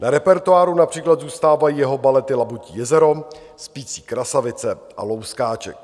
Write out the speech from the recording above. Na repertoáru například zůstávají jeho balety Labutí jezero, Spící krasavice a Louskáček.